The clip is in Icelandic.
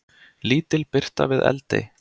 Lítil birta við Eldey